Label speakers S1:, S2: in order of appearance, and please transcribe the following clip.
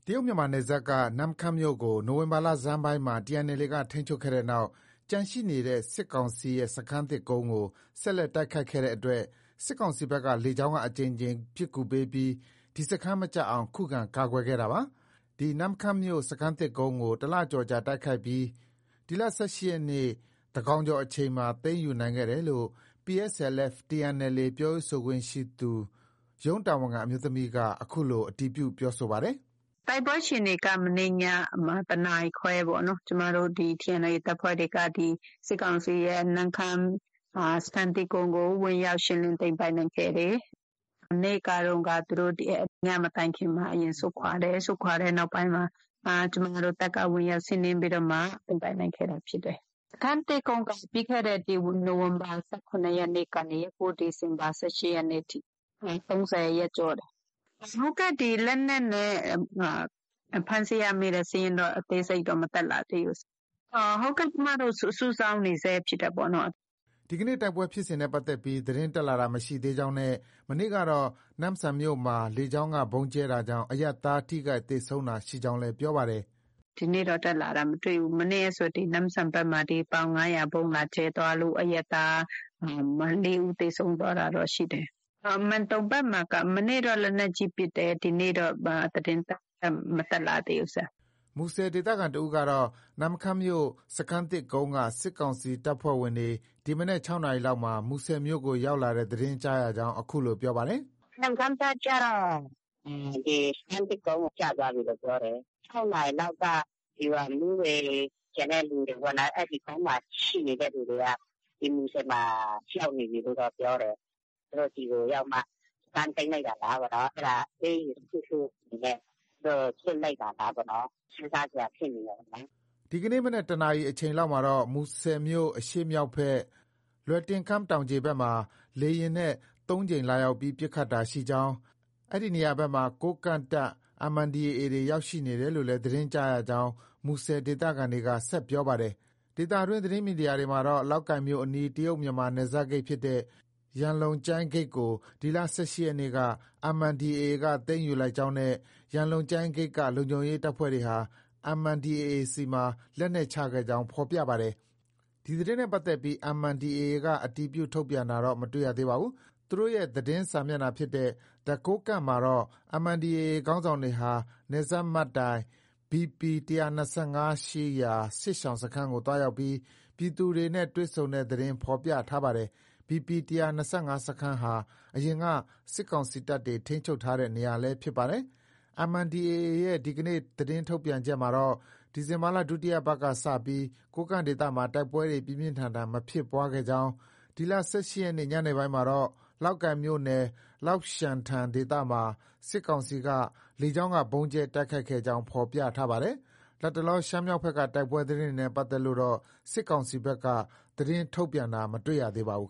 S1: တရုတ်-မြန်မာနယ်စပ်က နမ့်ခမ်းမြို့ကို နိုဝင်ဘာ လဆန်းပိုင်းမှာ TNLA က ထိန်းချုပ်ခဲ့တဲ့နောက် ကျန်ရှိနေတဲ့ စစ်ကောင်စီရဲ့ စခန်းသစ်ကုန်းကို ဆက်လက်တိုက်ခိုက်ခဲ့တဲ့အတွက် စစ်ကောင်စီဘက်က လေကြောင်းက အကြိမ်ကြိမ် ပစ်ကူပေးပြီး ဒီစခန်း မကျအောင် ခုခံကာကွယ်ခဲ့တာပါ။ ဒီနမ့်ခမ်းမြို့ စခန်းသစ်ကုန်းကို တလကျော်ကြာ တိုက်ခိုက်ပြီး ဒီလ ၁၈ရက်နေ့ သန်းခေါင်ကျော်အချိန်မှာ သိမ်းယူနိုင်ခဲ့တယ်လို့ PSLF/TNLA ပြောရေးဆိုခွင့်ရှိသူ ရုံးတာဝန်ခံ အမျိုးသမီးက အခုလို အတည်ပြု ပြောပါတယ်။ “တို
S2: က်ပွဲအခြေအနေက မနေ့ညမှာ တနာရီခွဲပေါ့။ ကျမတို့ TNLA တပ်ဖွဲ့တွေက စစ်ကောင်စီရဲ့ နမ့်ခမ်း စခန်းသစ်ကုန်းကို ဝင်ရောက် ရှင်းလင်းသိမ်းပိုက်နိုင်ခဲ့တယ်။ မနေ့ကတုံးက ညမတိုင်ခင်မှာသူတို့ အရင်ဆုတ်ခွာတယ်။ ဆုတ်ခွာတဲ့နောက်ပိုင်းမှာ ကျမတို့ တပ်က ဝင်ရောက် စီးနင်းပြီးတော့မှ သိမ်းပိုက်နိုင်ခဲ့တာ ဖြစ်တယ်။ စခန်းသစ်ကုန်းက ပြီးခဲ့တဲ့ နိုဝင်ဘာ ၁၇ ရက်ကနေ ဒီဇင်ဘာ ၁၈ ရက်နေ့ထိ ၃၀ ရက်ကျော်တယ်။ လက်နက်နဲ့
S1: ဖမ်းဆီးရမိတဲ့ စာရင်းတော့ အသေးစိတ်တက်မလာသေးဘူး။ ကျမတို့ စုဆောင်းနေဆဲ ဖြစ်တယ် ပေါ့နော်။” ဒီနေ့ တိုက်ပွဲဖြစ်စဉ်နဲ့ပတ်သက်ပြီး သတင်းတက်လာတာ မရှိသေးကြောင်းနဲ့ မနေ့ကတော့ နမ့်ဆန်မြို့မှာ လေကြောင်းက ဗုံးကြဲတာကြောင့် အရပ်သား ထိခိုက်သေဆုံးတာရှိကြောင်းလည်း ပြောပါတယ်။ “ဒီနေ့တော့ တက်လာတာ မတွေ့ဘူး။ မနေ့ကဆို နမ့်ဆန်ဘက်မှာ ပ
S2: ေါင် ၅၀၀ ဗုံးလာကြဲသွားလို့ အရပ်သား ၄ဦး သေဆုံးသွား တာတော့ ရှိတယ်။ မန်တုံဘက်မှာက မနေ့က လက်နက်ကြီးပစ်တယ်။ ဒီနေ့တော့ ဘာသတင်းမှ မတက်လာ သေးဘူး။”
S1: မူဆယ် ဒေသခံတဦးကတော့ နမ့်ခမ်းမြို့ စခန်းသစ်ကုန်းက စစ်ကောင်စီတပ်ဖွဲ့ဝင်တွေ ဒီမနက် ၆နာရီလောက်မှာ မူဆယ်မြို့ကို ရောက်လာတဲ့ သတင်း ကြားရကြောင်း အခုလို ပြောပါတယ်။ “နမ
S2: ့်ခမ်းကကျတော့ စခန်းသစ်ကုန်း ကျသွားပြီလို့ ပြောတယ်။ ၆နာရီလောက်က ဒီဗျူဟာမှူးတွေ၊ ကျန်တဲ့လူတွေ ပေါ့နော် အဲဒီကုန်းမှာ ရှိနေတဲ့သူတွေက ဒီမူဆယ်မှာ ရောက်နေပြီလို့ တော့ ပြောတယ်။ သူတို့ ဒီကို ရောက်မှ စခန်းသိမ်းလိုက်တာလား ပေါ့နော်။ အဲဒါ အပေးအယူ တခုခုနဲ့ သူတို့ လွှတ်လိုက်တာလားပေါ့နော်။ စဉ်းစားစရာ ဖြစ်နေတယ်ပေါ့နော်။
S1: ” ဒီကနေ့ မနက် ၁နာရီအချိန် လောက်မှာတော့ မူဆယ်မြို့ အရှေ့မြောက်ဘက် လွယ်တင်ခမ်း တောင်ခြေဘက်မှာ လေယာဉ်နဲ့ ၃ ကြိမ်လာရောက်ပြီး ပစ်ခတ်တာ ရှိကြောင်း၊ အဲဒီနေရာဘက်မှာ ကိုးကန့်တပ် MNDAA တွေ ရောက်နေတယ်လို့လည်း သတင်းကြားရကြောင်း မူဆယ်ဒေသခံက ဆက်ပြောပါတယ်။ ဒေသတွင်း သတင်းမီဒီယာတွေမှာတော့ လောက်ကိုင်မြို့အနီး တရုတ်မြန်မာ နယ်စပ်ဂိတ်ဖြစ်တဲ့ ရန်လုံကျိုင်း ဂိတ်ကို ဒီလ ၁၈ ရက်နေ့က MNDAA သိမ်းယူလိုက်ကြောင်းနဲ့ ရန်လုံကျိုင်းဂိတ်က လုံခြုံရေး တပ်ဖွဲ့တွေဟာ MNDAA ဆီမှာ လက်နက်ချခဲ့ကြောင်း ဖော်ပြပါတယ်။ ဒီသတင်းနဲ့ပတ်သက်ပြီး MNDAA က အတည်ပြု ထုတ်ပြန်တာတော့ မတွေ့ရပါဘူး။ သူတိုရဲ့ သတင်းစာမျက်နှာ ဖြစ်တဲ့ The Kokang မှာတော့ MNDAA ခေါင်းဆောင်တွေဟာ နယ်စပ်မှတ်တိုင် BP ၁၂၅ ရှိ စစ်ရှောင်စခန်းကို သွားရောက်ပြီး ပြည်သူတွေနဲ့ တွေ့ဆုံတဲ့ သတင်းဖော်ပြထား ပါတယ်။ BP ၁၂၅ စခန်းဟာ အရင်က စစ်ကောင်စီတပ်တွေ ထိန်းချုပ်ထားတဲ့ နေရာလည်း ဖြစ်ပါတယ်။ MNDAA ရဲ့ ဒီနေ့ သတင်းထုတ်ပြန်ချက်မှာ တော့ ဒီဇင်ဘာလ ဒုတိယပတ်က စတင်ပြီး ကိုးကန့်ဒေသမှာ တိုက်ပွဲ ပြင်းပြင်းထန်ထန် မဖြစ်ပွားခဲ့ ကြောင်း၊ ဒီလ ၁၈ ရက်နေ့ ညပိုင်းမှာတော့ လောက်ကိုင်မြို့နယ် လောက်ရှန်ထန် ဒေသမှာ စစ်ကောင်စီက လေကြောင်းက ဗုံးကြဲတိုက်ခိုက်ခဲ့ကြောင်း ဖော်ပြထားပါတယ်။ လတ်တလော ရှမ်းမြောက်ဘက်က တိုက်ပွဲသတင်းတွေနဲ့ ပတ်သက်လို့တော့ စစ်ကောင်စီဘက်က သတင်းထုတ်ပြန်တာ မတွေ့ရသေးပါဘူး